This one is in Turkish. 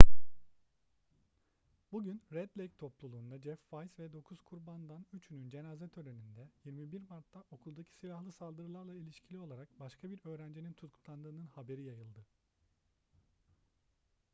bugün red lake topluluğunda jeff weise ve dokuz kurbandan üçünün cenaze töreninde 21 mart'ta okuldaki silahlı saldırılarla ilişkili olarak başka bir öğrencinin tutuklandığının haberi yayıldı